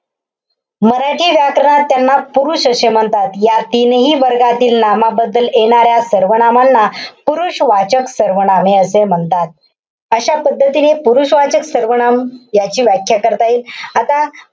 मराठी व्याकरणात त्यांना पृष्ठ असे म्हणतात. या तीनही वर्गातील नामाबद्दल येणाऱ्या सर्वनामांना पुरुषवाचक सर्वनामे असे म्हणतात. अशा पद्धतीने पुरुषवाचक सर्वनाम याची व्याख्या करता येईल. आता,